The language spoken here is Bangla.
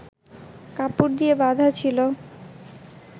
কাপড় দিয়ে বাঁধা ছিল